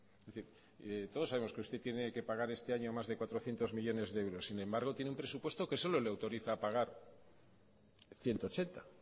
es decir todos sabemos que usted tiene que pagar este año más de cuatrocientos millónes de euros sin embargo tiene un presupuesto que solo le autoriza pagar ciento ochenta